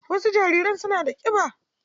Wasu jariran suna da kiba.